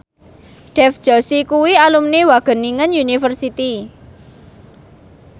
Dev Joshi kuwi alumni Wageningen University